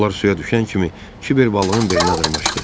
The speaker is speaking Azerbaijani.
Onlar suya düşən kimi Kiver balığın belinə dırmaşdı.